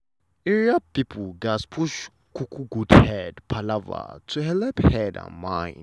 area people gatz push um good head palava to helep head and mind.